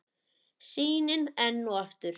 Sýnin enn og aftur.